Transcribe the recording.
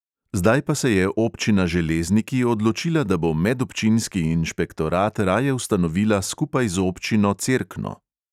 Zdaj pa se je občina železniki odločila, da bo medobčinski inšpektorat raje ustanovila skupaj z občino cerkno.